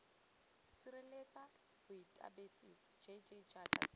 sireletsa baotaebesithi jj jaaka tsela